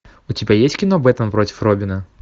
у тебя есть кино бэтмен против робина